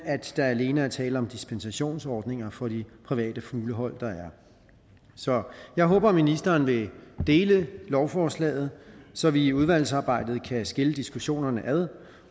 at der alene er tale om dispensationsordninger for de private fuglehold der er så jeg håber at ministeren vil dele lovforslaget så vi i udvalgsarbejdet kan skille diskussionerne ad